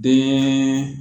Bɛɛ